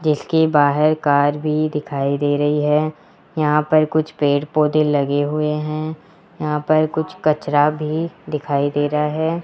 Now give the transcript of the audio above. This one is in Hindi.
देखिए बाहर कार भी दिखाई दे रही है यहां पर कुछ पेड़ पौधे लगे हुए हैं यहां पर कुछ कचरा भी दिखाई दे रहा है।